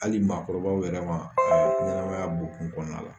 Hali maakɔrɔba yɛrɛ ma a ɲɛnamaya bonkun kɔnɔna la